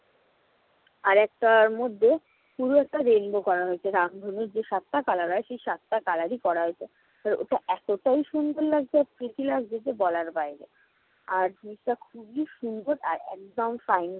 আর একটার মধ্যে পুরো একটা rainbow করা হয়েছে। রামধনুর যে সাতটা color হয় সে সাতটা color ই করা হয়েছে। আর ওটা এতোটাই সুন্দর লাগছে আর pretty লাগছে যে বলার বাইরে। আর জিনিসটা খুবই সুন্দর আর একদম fine